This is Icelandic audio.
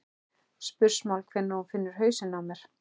spursmál hvenær hún finnur hausinn á mér.